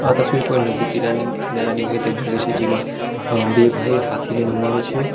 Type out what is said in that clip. આ તસવીર કોઈ નદી કિનારની કિનારાની હોય તેવું લાગે છે જેમાં બે ભાઈ હાથીને નવડાવે છે.